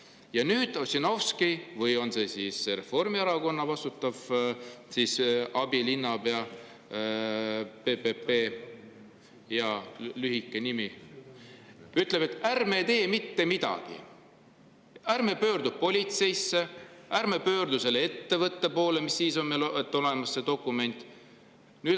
Ja Ossinovski või see Reformierakonna vastutav abilinnapea PPP – jaa, lühike nimi – ütleb, et ärme tee mitte midagi, ärme pöördu politseisse, ärme pöördu selle ettevõtte poole, mis siis, et meil on see dokument.